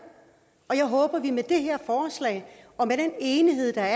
og jeg håber at vi med det her forslag og med den enighed der